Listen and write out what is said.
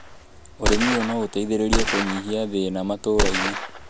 ũrĩmi ũyũ no ũteithĩrĩrie kũnyihia thĩna matũra-inĩ